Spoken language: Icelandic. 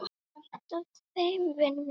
Vantaði þeim vinnu?